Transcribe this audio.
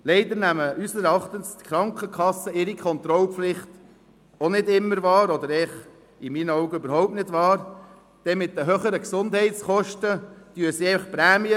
Leider nehmen unseres Erachtens die Krankenkassen ihre Kontrollpflicht auch nicht immer – oder in meinen Augen eigentlich überhaupt nicht – wahr, denn mit den höheren Gesundheitskosten erhöhen sie einfach die Prämien.